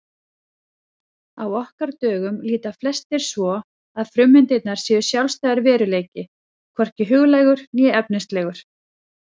Á okkar dögum líta flestir svo að frummyndirnar séu sjálfstæður veruleiki, hvorki huglægur né efnislegur.